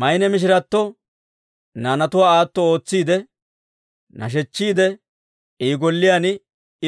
Maynne mishirato naanatuwaa aato ootsiide, nashechchiide I golliyaan